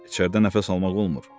içərdə nəfəs almaq olmur.